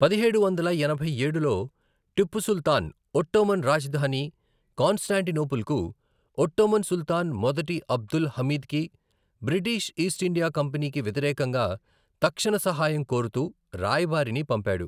పదిహేడు వందల ఎనభై ఏడులో, టిప్పు సుల్తాన్ ఒట్టోమన్ రాజధాని కాన్స్టాంటినోపుల్కు, ఒట్టోమన్ సుల్తాన్ మొదటి అబ్దుల్ హమీద్కి, బ్రిటిష్ ఈస్ట్ ఇండియా కంపెనీకి వ్యతిరేకంగా తక్షణ సహాయం కోరుతూ రాయబారిని పంపాడు.